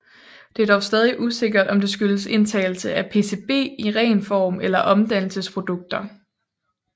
Det er dog stadig usikkert om det skyldes indtagelse af PCB i ren form eller omdannelsesprodukter